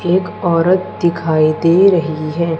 एक औरत दिखाई दे रही है।